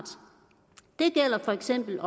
det gælder for eksempel